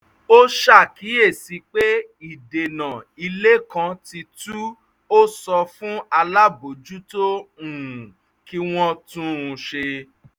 ó ṣàkíyèsí pé ìdènà ilé kan ti tu ó sọ fún alábòójútó um kí wọ́n tún un ṣe